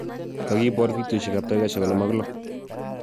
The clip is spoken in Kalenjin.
Kagiboor fidioit ap taikaisiek 56